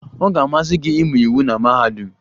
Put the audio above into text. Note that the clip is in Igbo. Ọ ga-amasị gị ịmụ iwu na mahadum?